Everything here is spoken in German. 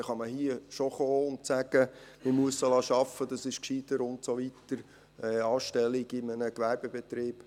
Da kann man hier schon kommen und sagen, man müsse sie arbeiten lassen, das sei gescheiter und so weiter, eine Anstellung in einem Gewerbebetrieb …